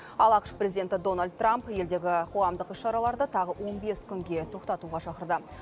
ал ақш президенті дональд трамп елдегі қоғамдық іс шараларды тағы он бес күнге тоқтатуға шақырды